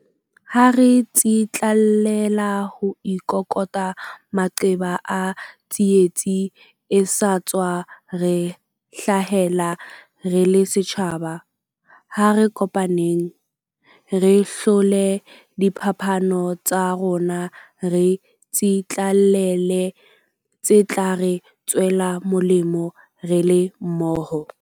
Ha re tsitlallela ho ikoka maqeba a tsietsi e sa tswa re hlahela re le setjhaba, ha re kopaneng. Re hlole diphapano tsa rona re tsitlallele tse tla re tswela molemo re le mmoho.